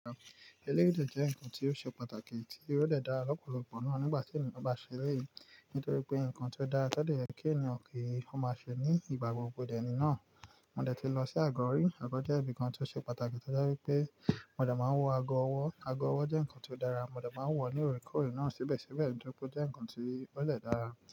Elérìndòdo jẹ́ nǹkan tí ó ṣe pàtàkì tí o dé dá lọ́pọ̀lọpọ̀ náà nígbà tí ènìyàn bá ṣe eléyìí, nítorí pé ǹkan tí ó dáa tẹ́lẹ̀ yẹ kí ènìyàn kí ó máa ṣe ní ìgbà gbogbo di ẹni náà. Mo dẹ ti lọ sí àgọ́ rì, àgọ́ jẹ́ ibi kan tí ó ṣe pàtàkì tọ́jé wípé mo dẹ máa wọ àgọ́ ọwọ́. Àgọ́ ọwọ́ jẹ́ ǹkan tí ó dára, mo dẹ máa wọ̀ ó lóore kóòrè náà síbẹ̀síbẹ̀ nítorí pé ó jẹ́ ǹkan tí eré lè dára.